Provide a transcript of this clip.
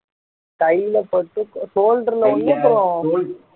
கையில பட்டு shoulder ல ஒண்ணு அப்புறம்